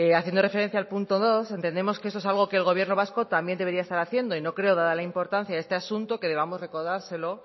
haciendo referencia al punto dos entendemos que esto es algo que el gobierno vasco también debería estar haciendo y no creo dada la importancia de este asunto que debamos recordárselo